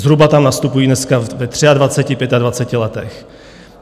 Zhruba tam nastupují dneska ve 23, 25 letech.